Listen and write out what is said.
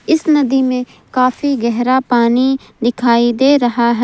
इस नदी में काफी गहरा पानी दिखाई दे रहा है।